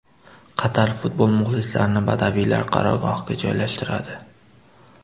Qatar futbol muxlislarini badaviylar qarorgohiga joylashtiradi.